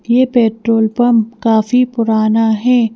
यह petrol pump काफी पुराना है।